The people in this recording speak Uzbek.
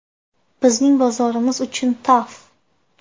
Bizning bozorimiz uchun TAF!